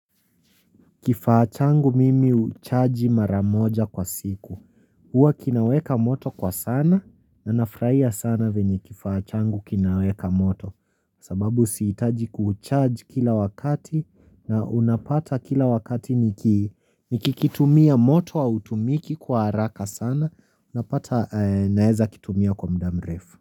Kifaa changu mimi huchaji mara moja kwa siku huwa kinaweka moto kwa sana, na nafurahia sana venye kifaa changu kinaweka moto sababu sihitaji kuucharge kila wakati na unapata kila wakati niki nikikitumia moto hautumiki kwa haraka sana napata naweza kitumia kwa muda mrefu.